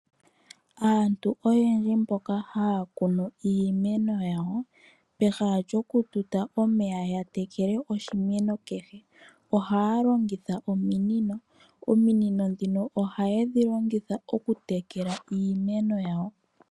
Aantu oyendji mboka haya kunu iimeno yawo pehala lyokututa omeya ya tekele oshimeno kehe ohaya longitha ominino, ominino ndhino ohaye dhi longitha okutekela iimeno yawo.